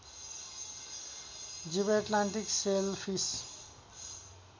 जीव Atlantic shellfish